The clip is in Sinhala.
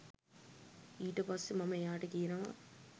ඊට පස්සේ මම එයාට කියනවා